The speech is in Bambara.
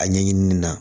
A ɲɛɲinini na